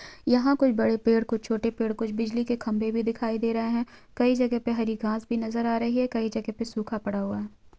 यहां कोई बड़े पेड़ कुछ छोटे पेड़ कुछ बिजली के खंबे भी दिखाई दे रहे हैं कई जगह पे हरी घास भी नज़र आ रही है कई जगह पे सूखा पड़ा हुआ--